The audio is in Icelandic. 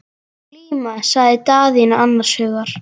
Glíma, sagði Daðína annars hugar.